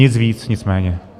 Nic víc, nic méně.